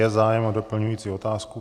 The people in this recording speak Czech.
Je zájem o doplňující otázku?